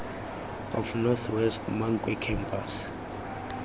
of north west mankwe campus